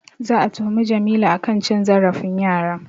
Za'a tuhumi Jamilu a kan cin zarafin yara.